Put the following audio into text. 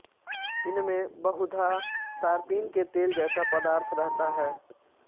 इनमें बहुधा तारपीन के तेल जैसा पदार्थ रहता है